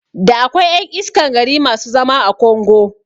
Da akwai ƴan iskan gari masu zama a kongo